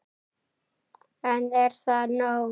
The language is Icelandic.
En er það nóg?